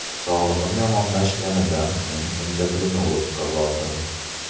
Sog‘lig‘im yomonlashganidan so‘ng endokrinologga bordim.